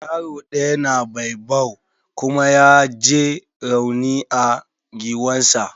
Yaro ɗayan na baobab kuma ya j rauni a giwan sa.